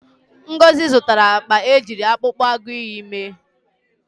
Ngozi zụtara akpa ejiri akpụkpọ agụịyị mee.